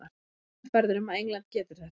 Ég er sannfærður um að England getur þetta.